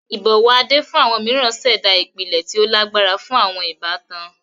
Ibọwọ Ade fun awọn miiran ṣẹda ipilẹ ti o lagbara fun awọn ibatan.